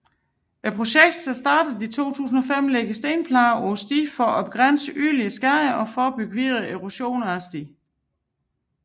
Projektet som begyndte i 2005 lægger stenplader på stien for at begrænse yderligere skade og forebygge videre erosion af stien